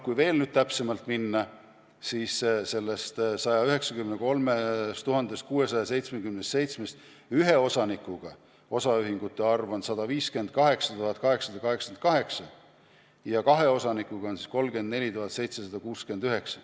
Kui veel täpsemaks minna, siis sellest 193 677-st on ühe osaniku osaühinguid 158 888, kahe osanikuga ühinguid on 34 769.